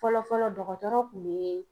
Fɔlɔfɔlɔ dɔgɔtɔrɔ kun be